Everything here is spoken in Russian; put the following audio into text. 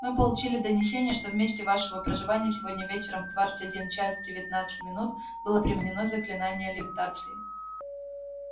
мы получили донесение что в месте вашего проживания сегодня вечером в двадцать один час девятнадцать минут было применено заклинание левитации